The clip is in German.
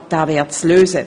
Aber das wäre zu lösen.